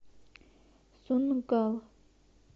сунггал